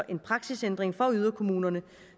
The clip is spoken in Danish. en praksisændring for yderkommunerne